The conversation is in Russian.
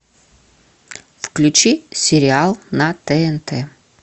включи сериал на тнт